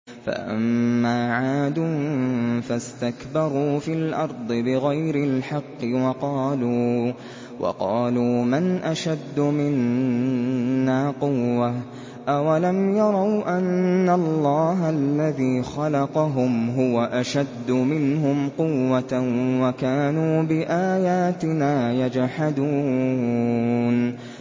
فَأَمَّا عَادٌ فَاسْتَكْبَرُوا فِي الْأَرْضِ بِغَيْرِ الْحَقِّ وَقَالُوا مَنْ أَشَدُّ مِنَّا قُوَّةً ۖ أَوَلَمْ يَرَوْا أَنَّ اللَّهَ الَّذِي خَلَقَهُمْ هُوَ أَشَدُّ مِنْهُمْ قُوَّةً ۖ وَكَانُوا بِآيَاتِنَا يَجْحَدُونَ